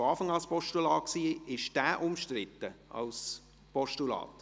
Dieser war von Anfang an ein Postulat.